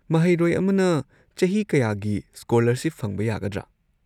ꯃꯍꯩꯔꯣꯏ ꯑꯃꯅ ꯆꯍꯤ ꯀꯌꯥꯒꯤ ꯁ꯭ꯀꯣꯂꯔꯁꯤꯞ ꯐꯪꯕ ꯌꯥꯒꯗ꯭ꯔꯥ?